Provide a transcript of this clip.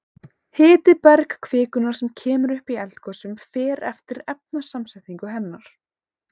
Hiti bergkvikunnar sem kemur upp í eldgosum fer eftir efnasamsetningu hennar.